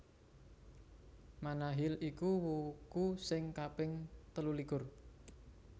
Manahil iku wuku sing kaping telulikur